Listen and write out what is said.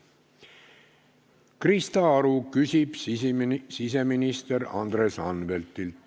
Krista Aru küsib siseminister Andres Anveltilt.